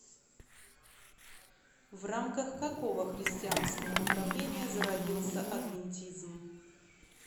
в рамках какого христианского направления зародился адвентизм